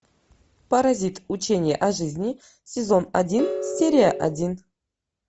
паразит учение о жизни сезон один серия один